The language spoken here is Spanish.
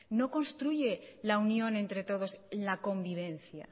no construye la unión entre todos la convivencia